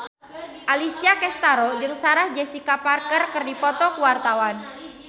Alessia Cestaro jeung Sarah Jessica Parker keur dipoto ku wartawan